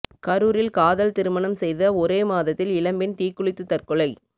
கரூரில் காதல் திருமணம் செய்த ஒரே மாதத்தில் இளம்பெண் தீக்குளித்து தற்கொலை